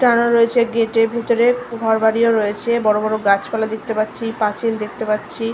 টানা রয়েছে গেট - র ভিতরে ঘর বাড়িও রয়েছেবড় বড় গাছপালা দেখতে পাচ্ছিপাঁচিল দেখতে পাচ্ছি --